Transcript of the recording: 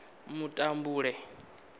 mutambule